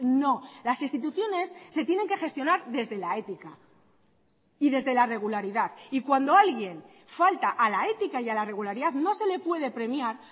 no las instituciones se tienen que gestionar desde la ética y desde la regularidad y cuando alguien falta a la ética y a la regularidad no se le puede premiar